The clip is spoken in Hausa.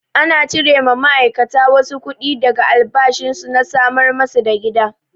Ana cire ma ma'aikata wasu kuɗi daga albashin su na samar masu da gida.